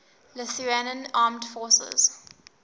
lithuanian armed forces